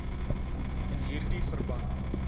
in hierdie verband